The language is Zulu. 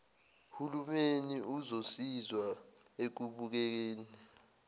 hulumeni uzosiza ekubekeni